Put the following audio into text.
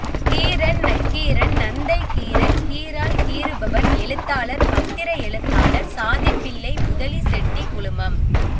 கீரன் நக்கீரன் நந்தை கீரன் கீராள் கீறுபவன் எழுத்தாளர் பத்திர எழுத்தாளர் சாதி பிள்ளை முதலி செட்டி குழுமம்